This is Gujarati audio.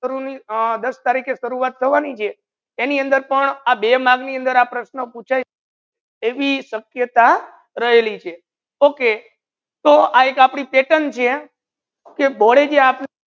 દસ તારીકે શુરુઆત કરવાની છે અની અંદર પણ આ બે mark ની અંદર આ પ્રશ્ન પૂછે સક્યતા રહેલી છે okay તો એક આપની pettern છે કે board એ જે આપ